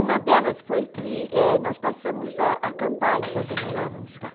Uma delas foi que é, nós passamos a acampar enquanto morávamos lá.